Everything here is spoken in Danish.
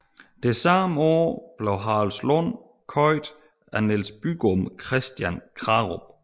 Samme år blev Haraldslund købt af Niels Bygom Christian Krarup